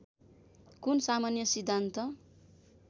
कुन सामान्य सिद्धान्त